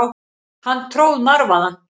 Hann tróð marvaðann.